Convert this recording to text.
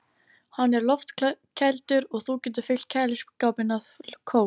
Hann er loftkældur og þú getur fyllt kæliskápinn af kók.